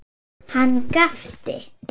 Hann gapti.